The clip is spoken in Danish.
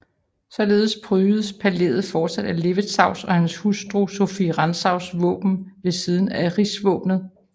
Således prydes palæet fortsat af Levetzaus og hans hustru Sophie Rantzaus våben ved siden af Rigsvåbenet